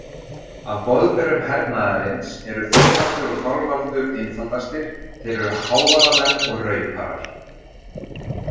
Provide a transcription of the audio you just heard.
Af boðberum hernaðarins eru Þórhallur og Þorvaldur einfaldastir, þeir eru hávaðamenn og rauparar.